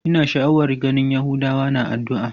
Ina sha'awar ganin yahudawa na addu'a.